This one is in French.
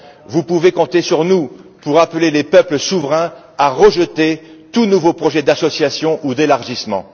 Vous pouvez compter sur nous pour appeler les peuples souverains à rejeter tout nouveau projet d'association ou d'élargissement.